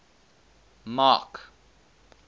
mark